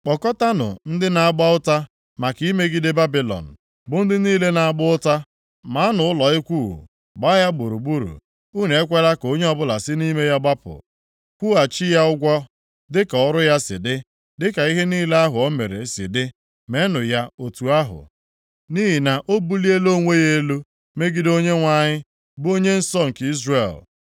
“Kpọkọtanụ ndị na-agba ụta maka imegide Babilọn, bụ ndị niile na-agba ụta. Maanụ ụlọ ikwu, gbaa ya gburugburu; unu ekwela ka onye ọbụla si nʼime ya gbapụ. Kwụghachi ya ụgwọ dịka ọrụ ya si dị, dịka ihe niile ahụ o mere si dị meenụ ya otu ahụ. Nʼihi na o buliela onwe ya elu megide Onyenwe anyị, bụ Onye nsọ nke Izrel.